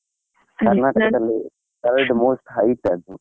Third most height ಅದು.